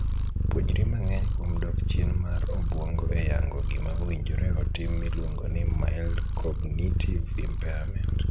Puonjri mang'eny kuom dok chien mar obuongo e yango gima owinjore otim miluongo ni 'mild cognitive impairment'.